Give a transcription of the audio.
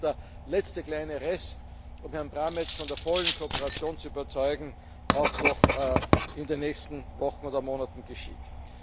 Ich hoffe, dass der letzte kleine Rest, der noch fehlt, um Herrn Brammertz von der vollen Kooperation zu überzeugen, auch noch in den nächsten Wochen oder Monaten geschieht.